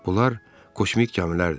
Bunlar kosmik gəmilərdir.